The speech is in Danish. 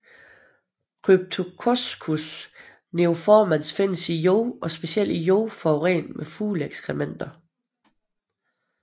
Cryptococcus neoformans findes i jord og specielt i jord forurenet med fugleekskrementer